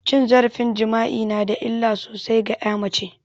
Cin zarafin jima'i nada illa sosai ga ƴa mace